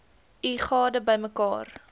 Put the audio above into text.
u gade bymekaar